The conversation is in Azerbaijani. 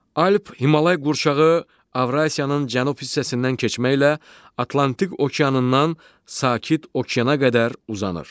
Alp-Himalay qurşağı Avrasiyanın cənub hissəsindən keçməklə Atlantik Okeanından Sakit Okeana qədər uzanır.